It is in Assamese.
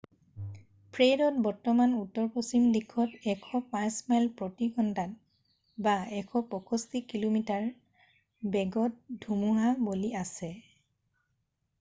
ফ্ৰেডত বৰ্তমান উত্তৰপশ্চিম দিশত 105 মাইল প্ৰতি ঘণ্টা 165 কিমি/ঘ বেগত ধুমুহা বলি আছে।